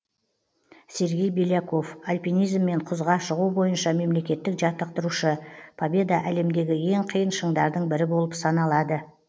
сергей беляков альпинизм мен құзға шығу бойынша мемлекеттік жаттықтырушы победа әлемдегі ең қиын шыңдардың бірі болып саналады